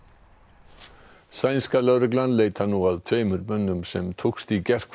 sænska lögreglan leitar nú að tveimur mönnum sem tókst í gærkvöld að ræna